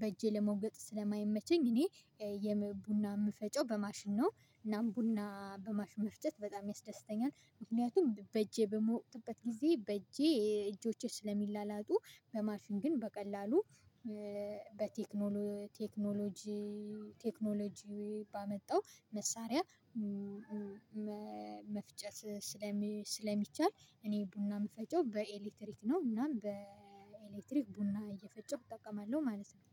በእጄ ለመውቀጥ ስለማይመቸኝ እኔ ቡና የምፈጨው በማሽን ነው። እናም ቡና በማሽን መፍጨት በጣም ያስደስተኛል ምክንያቱም በእጄ በምወቅጥበት ጊዜ በእጄ እጆቼ ስለሚላላጡ። በማሽን ግን በቀላሉ በቴክኖሎጂ ቴክኖሎጂ ባመጣው መሳሪያ መፍጨት ስለሚቻል እኔ ቡና የምፈጨው በኤሌክትሪክ ነው። እናም በኤሌክትሪክ ቡና እየፈጨሁ እጠቀማለሁ ማለት ነው